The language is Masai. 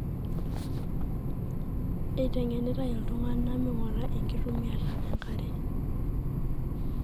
etengenitae oltunganaa mingura enktumiata enkare.